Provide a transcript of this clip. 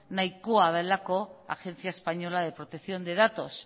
nahikoa delako agencia española de protección de datos